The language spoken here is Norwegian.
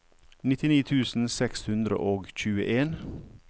nittini tusen seks hundre og tjueen